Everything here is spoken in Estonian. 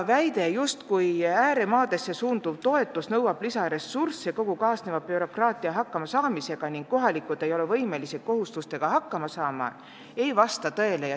Väitel, et ääremaadesse suunduv toetus nõuab lisaressurssi kogu kaasneva bürokraatiaga hakkama saamiseks ning kohalikud inimesed ei suuda kohustustega toime tulla, pole alust.